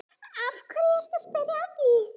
Af hverju ertu að spyrja að því.